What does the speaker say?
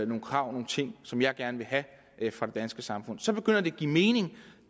nogle krav og nogle ting som jeg gerne vil have fra det danske samfund så begynder det at give mening